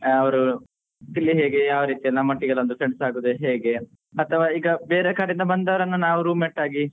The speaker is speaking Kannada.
ಅವರು ಇಲ್ಲಿ ಹೇಗೆ ಯಾವರೀತಿ ನಮ್ಮೊಟ್ಟಿಗೆಲ friends ಆಗೋದು ಹೇಗೆ ಅಥವಾ ಈಗ ಬೇರೆ ಕಡೆ ಇಂದ ಬಂದವ್ರ್ನ ನಾವ್ room mate ಆಗಿ